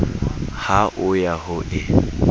ha o ya ho e